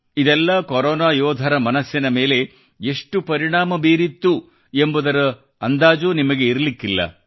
ಇದೆಲ್ಲ ಕೊರೊನಾ ಯೋಧರ ಮನಸ್ಸಿನ ಮೇಲೆ ಎಷ್ಟು ಪರಿಣಾಮ ಬೀರಿತ್ತು ಎಂಬುದು ನಿಮಗೆ ಅಂದಾಜಿರಲಿಕ್ಕಿಲ್ಲ